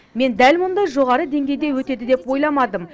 мен дәл мұндай жоғары деңгейде өтеді деп ойламадым